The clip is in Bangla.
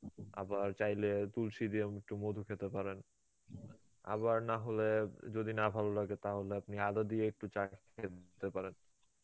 আবার চাইলে তুলসী দিয়েও একটু মধু খেতে পারেন, আবার নাহলে যদি না ভালো লাগে তাহলে আপনি আদা দিয়ে একটু চা খেতে পারেন.